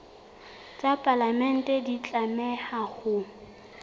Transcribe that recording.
tsa palamente di tlameha ho